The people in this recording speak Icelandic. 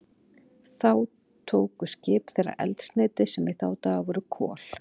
Þar tóku skip þeirra eldsneyti, sem í þá daga voru kol.